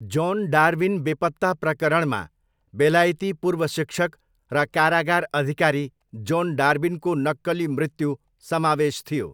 John Darwin बेपत्ता प्रकरणमा बेलायती पूर्व शिक्षक र कारागार अधिकारी जोन डार्विनको नक्कली मृत्यु समावेश थियो।